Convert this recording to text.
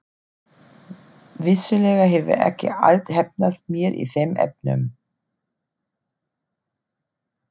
Vissulega hefur ekki allt heppnast mér í þeim efnum.